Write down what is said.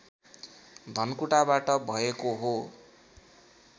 धनकुटाबाट भएको हो